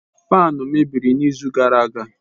Faanu mebiri izu gara aga.